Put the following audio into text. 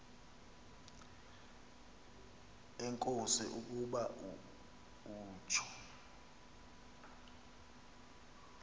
enkosi ukuba utsho